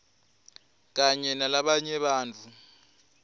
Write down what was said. kanye nalabanye bantfu